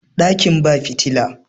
dakin ba fitila